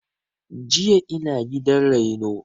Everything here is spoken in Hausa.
Jiya ina gidan reno